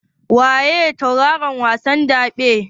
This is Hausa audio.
Waye tauraron wasan daɓen?